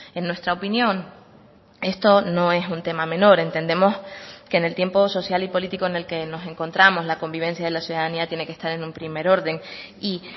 en nuestra opinión esto no es un tema menor entendemos que en el tiempo social y político en el que nos encontramos la convivencia de la ciudadanía tiene que estar en un primer orden y